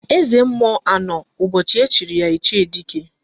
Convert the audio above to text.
Eze mmụọ anọ ụbọchị echiri ya Ichie Dike?